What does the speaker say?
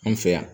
An fɛ yan